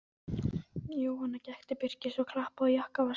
Jóhann gekk til Birkis og klappaði á jakkavasa hans.